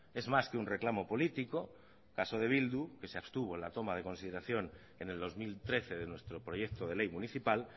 es más que un reclamo político caso de bildu que se abstuvo en la toma de consideración en el dos mil trece de nuestro proyecto de ley municipal